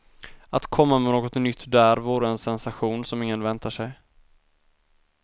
Att komma med något nytt där vore en sensation som ingen väntar sig.